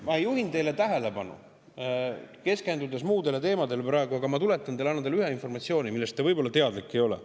Ma juhin teie tähelepanu – te keskendute küll muudele teemadele praegu –, aga ma annan teile edasi ühe informatsiooni, millest te võib-olla teadlik ei ole.